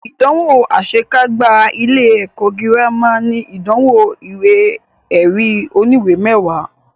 Ìdánwò àṣe kágbá ilé ẹ̀kọ́ gírámà ní ìdánwò ìwé ẹ̀rí oníwè mẹwàá.